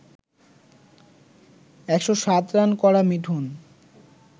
১০৭ run করা মিঠুন